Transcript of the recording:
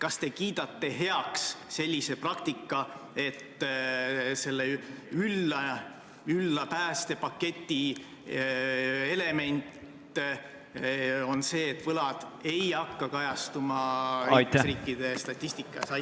Kas te kiidate heaks asjaolu, et selle ülla päästepaketi element on see, et võlad ei hakka kajastuma liikmesriikide statistikas?